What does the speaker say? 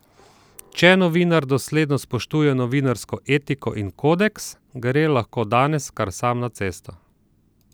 Če novinar dosledno spoštuje novinarsko etiko in kodeks, gre lahko danes kar sam na cesto.